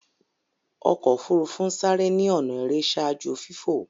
ọkọ ofurufu n sáré ni ọnà èrè ṣaaju fifo.